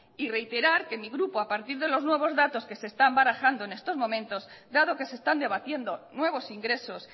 y reiterar que en mi grupo a partir de los nuevos datos que se están barajando en estos momentos dado que se están debatiendo nuevos ingresos